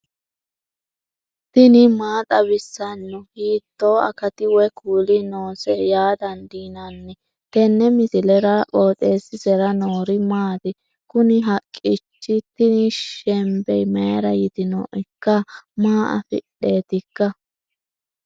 tini maa xawissanno ? hiitto akati woy kuuli noose yaa dandiinanni tenne misilera? qooxeessisera noori maati? kuni haqqicho tini shembe mayra yitinoikka maa afidheetikka